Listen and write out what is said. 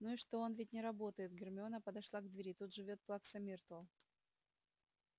ну и что он ведь не работает гермиона подошла к двери тут живёт плакса миртл